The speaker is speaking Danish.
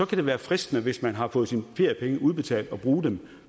kan det være fristende hvis man har fået sine feriepenge udbetalt at bruge dem